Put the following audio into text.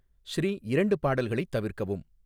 ஸ்ரீ இரண்டு பாடல்களைத் தவிர்க்கவும்